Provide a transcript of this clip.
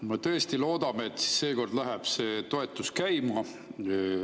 Me tõesti loodame, et seekord läheb see toetus käima.